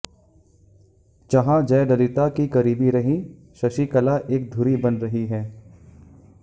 जहां जयललिता की करीबी रहीं शशिकला एक धुरी बन रही हैं